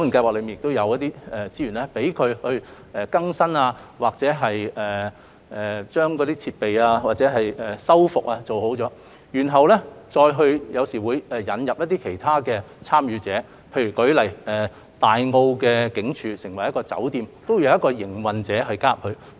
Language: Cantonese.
我知道該伙伴計劃可提供資源翻新建築物或復修設施，然後或會引入其他參與者，例如前身為大澳警署的酒店，也有一個營運者加入營運。